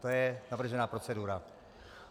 To je navržená procedura.